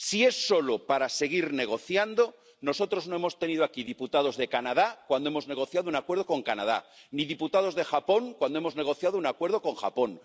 Si es solo para seguir negociando, nosotros no hemos tenido aquí diputados de Canadá cuando hemos negociado un acuerdo con Canadá, ni diputados de Japón cuando hemos negociado un acuerdo con Japón.